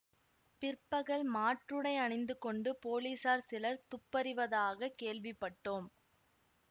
பிற்பகல் மாற்றுடை அணிந்து கொண்டு போலீசார் சிலர் துப்பறிவதாகக் கேள்விப்பட்டோம்